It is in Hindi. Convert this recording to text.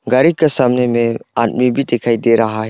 गाड़ी के सामने में आदमी भी दिखाई दे रहा है।